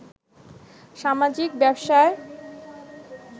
সামাজিক ব্যবসায়